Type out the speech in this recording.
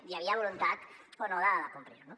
hi havia voluntat o no de complir ho